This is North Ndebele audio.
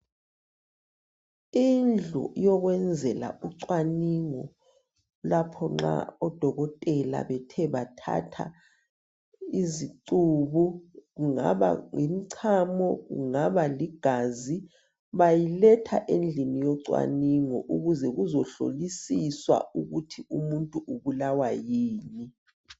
Indlu yokwenzela ucwaningo lapho nxa odokotela bethe bathatha izicubu kungaba ngumchamo, kungaba ligazi bayiletha endlini yocwaningo ukuze bezohlisiswa ukuthi umuntu ubulawa yini.